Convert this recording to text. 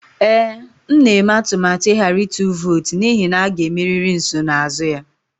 Ee, m na-eme atụmatụ ịghara ịtụ vootu n'ihi na a ga-emeri nsonaazụ ya